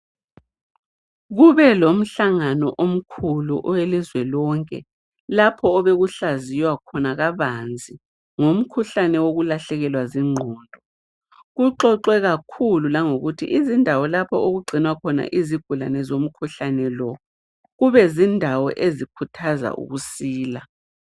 Kube lomhlangano omkhulu owelizwe lonke . Lapho owekuhlaziwa khona kabanzi ngomkhuhlane okulahlekelwa ziqondo. Kuxoxe kakhulu ngokuthi izindawo lapho okugcinwa khona izigulane zonkhuhlane lo, ukube zindawo ezikuthaza ukusila.